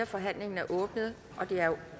forhandlingen er åbnet det er